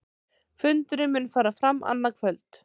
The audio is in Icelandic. Fundurinn mun fara fram annað kvöld